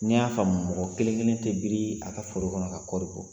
Ni n y'a faamu mɔgɔ kelen kelen tɛ biri a ka foro kɔnɔ ka kɔɔri bɔ.